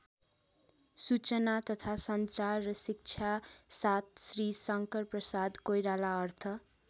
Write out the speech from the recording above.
सूचना तथा सञ्चार र शिक्षा ७ श्री शंकरप्रसाद कोइराला अर्थ